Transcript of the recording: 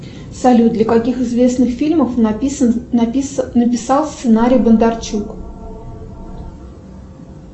салют для каких известных фильмов написал сценарий бондарчук